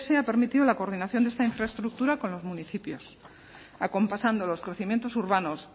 ha permitido la coordinación de esta infraestructura con los municipios acompasando los crecimientos urbanos